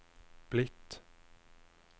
blitt